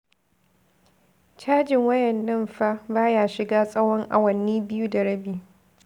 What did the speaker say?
Cajin wayar nan fa ba ya shiga tsawon awanni biyu da rabi.